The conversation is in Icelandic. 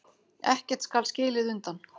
Ekkert skal skilið undan.